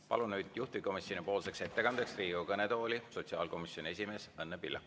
Palun juhtivkomisjoni ettekandeks Riigikogu kõnetooli sotsiaalkomisjoni esimehe Õnne Pillaku.